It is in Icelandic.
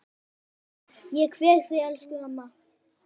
Ég kveð þig, elsku mamma.